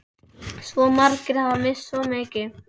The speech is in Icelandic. Svo margir hafa misst svo mikið.